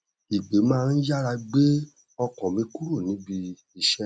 ìpè má n yára gbé ọkàm mi kúrò níbi iṣẹ